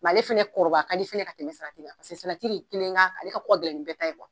ale fɛnɛ kɔrɔbaya fɛnɛ ka di, ka tɛmɛ salati kan, salati de keln ka, ale ka ko ka gɛlɛn nin bɛɛ ta ye .